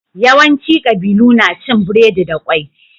Yawanci ƙabilu na cin biredi da ƙwai.